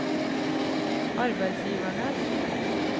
arbeidsgivernes